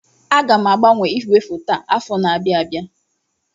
Aga m agbanwe ígwèfoto a afọ na-abịa abịa.